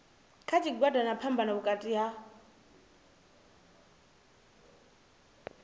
kha tshigwada na phambano vhukati